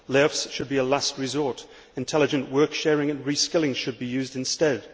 Lay offs should be a last resort intelligent work sharing and reskilling should be used instead.